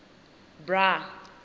bra